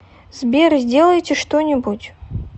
сбер сделайте что нибудь